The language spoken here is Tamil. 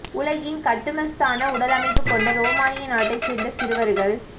உலகின் கட்டுமஸ்தான உடலமைப்பு கொண்ட ரோமானியா நாட்டை சேர்ந்த சிறுவர்கள்